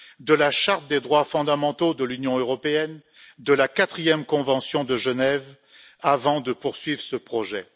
de la charte des droits fondamentaux de l'Union européenne et de la quatrième Convention de Genève, avant de poursuivre ce projet.